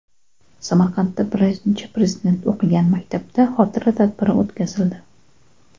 Samarqandda Birinchi Prezident o‘qigan maktabda xotira tadbiri o‘tkazildi.